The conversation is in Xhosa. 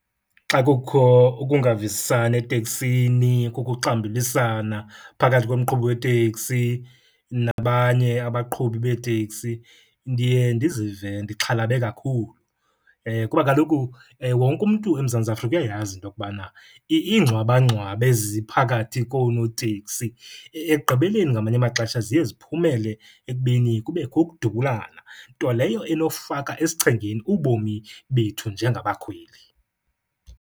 Xa kukho ukungavisisani eteksini, kukho uxambulisana phakathi komqhubi weteksi nabanye abaqhubi beeteksi, ndiye ndizive ndixhalabe kakhulu. Kuba kaloku wonke umntu eMzantsi Afrika uyayazi into okubana iingxwabangxwaba eziphakathi konooteksi ekugqibeleni ngamanye amaxesha ziye ziphumele ekubeni kubekho ukudubulana, nto leyo enofaka esichengeni ubomi bethu njengabakhweli.